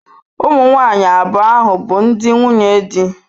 Ụmụ nwanyị abụọ ahụ bụ ndi nwunye di.